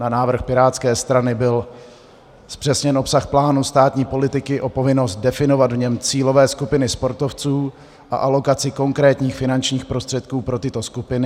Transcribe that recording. Na návrh pirátské strany byl zpřesněn obsah plánu státní politiky o povinnost definovat v něm cílové skupiny sportovců a alokaci konkrétních finančních prostředků pro tyto skupiny.